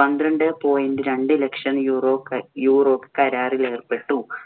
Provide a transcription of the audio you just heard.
പന്ത്രണ്ടേ point രണ്ടു lakh euro ക~ euro കരാറില്‍ ഏര്‍പ്പെട്ടു.